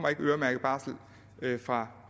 øremærket barsel fra